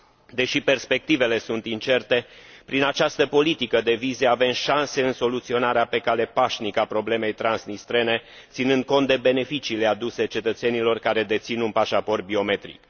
Deși perspectivele sunt incerte, prin această politică de vize avem șanse în soluționarea pe cale pașnică a problemei transnistrene, ținând cont de beneficiile aduse cetățenilor care dețin un pașaport biometric.